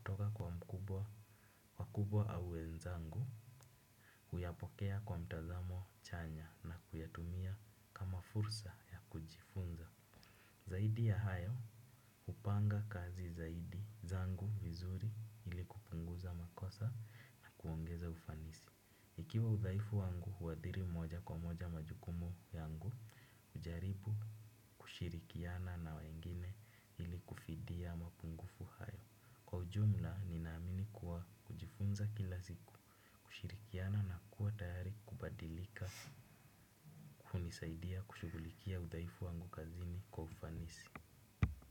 kuboresha hatua kwa hatua. Kuyapokea kwa mtazamo chanya na kuyatumia kama fursa ya kujifunza. Zaidi ya hayo hupanga kazi zaidi zangu vizuri ili kupunguza makosa na kuongeza ufanisi. Ikiwa udhaifu wangu huwadhiri moja kwa moja majukumu yangu ujaribu, kushirikiana na wengine ili kufidia mapungufu. Kwa ujumla, nina amini kuwa kujifunza kila siku, kushirikiana na kuwa tayari kubadilika, hunisaidia kushugulikia udhaifu wangu kazini kwa ufanisi.